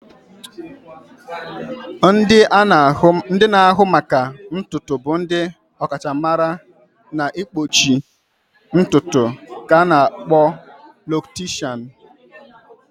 Ndị na-ahụ maka ntutu bụ ndị ọkachamara n'ịkpọchi ntutu ka a na-akpọ locticians.